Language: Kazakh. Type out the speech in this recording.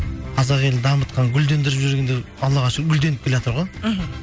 қазақ елін дамытқан гүлдендіріп жүргендер аллаға шүкір гүлденіп келеатыр ғой мхм